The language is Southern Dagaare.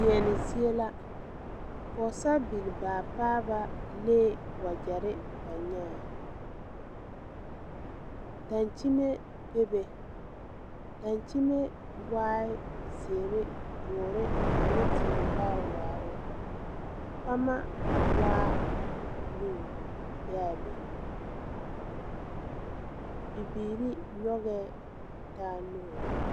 Deɛne zie la pɔɔsaribilbaapaaba lee wagyɛre ba nyaa dankyime bebe dankyime waai zeere dɔɔre ane tie vaare waaloŋ pama waa loo be a be bibiire nyogee taa nuure.